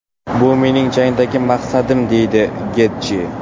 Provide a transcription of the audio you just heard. Bu mening jangdagi maqsadim”, deydi Getji.